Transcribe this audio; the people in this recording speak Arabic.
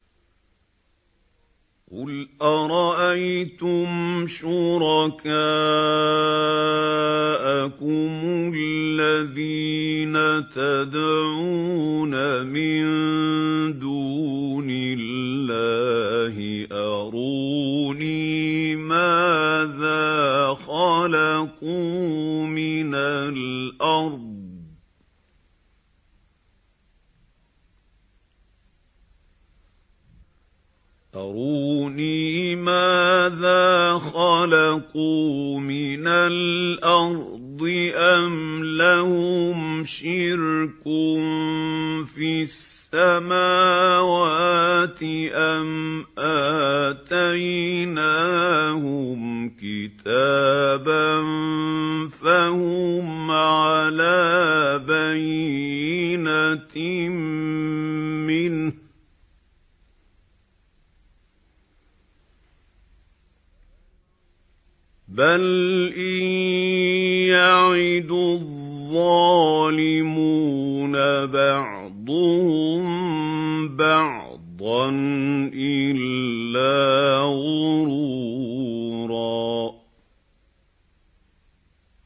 قُلْ أَرَأَيْتُمْ شُرَكَاءَكُمُ الَّذِينَ تَدْعُونَ مِن دُونِ اللَّهِ أَرُونِي مَاذَا خَلَقُوا مِنَ الْأَرْضِ أَمْ لَهُمْ شِرْكٌ فِي السَّمَاوَاتِ أَمْ آتَيْنَاهُمْ كِتَابًا فَهُمْ عَلَىٰ بَيِّنَتٍ مِّنْهُ ۚ بَلْ إِن يَعِدُ الظَّالِمُونَ بَعْضُهُم بَعْضًا إِلَّا غُرُورًا